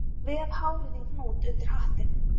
Ég vef hárið í hnút undir hattinn